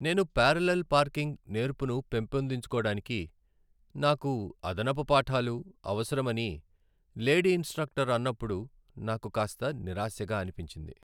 నేను parallel parking నేర్పును పెంపొందించుకోడానికి నాకు అదనపు పాఠాలు అవసరమని లేడీ ఇన్స్ట్రక్టర్ అన్నప్పుడు నాకు కాస్త నిరాశగా అనిపించింది.